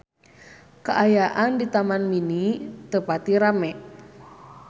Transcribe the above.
Kaayaan di Taman Mini teu pati rame